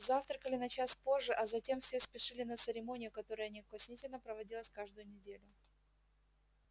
завтракали на час позже а затем все спешили на церемонию которая неукоснительно проводилась каждую неделю